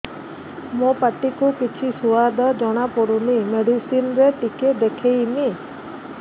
ମୋ ପାଟି କୁ କିଛି ସୁଆଦ ଜଣାପଡ଼ୁନି ମେଡିସିନ ରେ ଟିକେ ଦେଖେଇମି